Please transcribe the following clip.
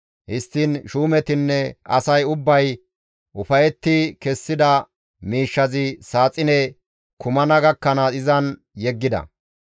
Histtiin shuumetinne asay ubbay ufayetti kessida miishshazi saaxine kumana gakkanaas izan yeggida.